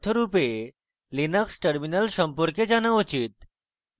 linux terminal সম্পর্কে জানা উচিত